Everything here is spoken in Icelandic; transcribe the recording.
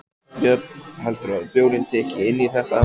Björn: Heldurðu að bjórinn tikki inn í þetta?